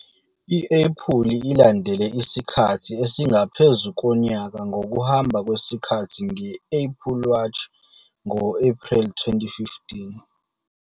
I-Apple ilandele isikhathi esingaphezu konyaka ngokuhamba kwesikhathi nge-Apple Watch ngo-Ephreli 2015.